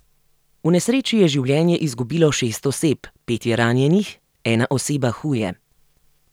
V nesreči je življenje izgubilo šest oseb, pet je ranjenih, ena oseba huje.